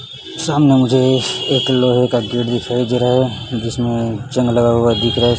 सामने मुझे एक लोहे का गेट दे रहा हैं जिसमें जंग लगा हुआ दिख रहा है।